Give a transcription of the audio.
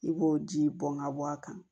I b'o ji bɔn ka bɔ a kan